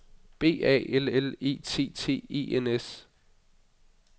B A L L E T T E N S